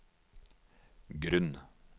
grunn